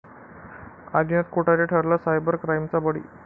आदिनाथ कोठारे ठरला सायबर क्राईमचा बळी